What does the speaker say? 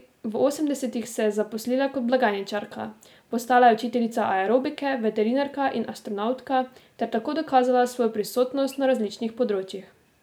V osemdesetih se je zaposlila kot blagajničarka, postala je učiteljica aerobike, veterinarka in astronavtka ter tako dokazala svojo prisotnost na različnih področjih.